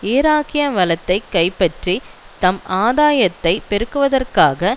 ஈராக்கிய வளத்தை கைப்பற்றித் தம் ஆதாயத்தைப் பெருக்குவதற்காக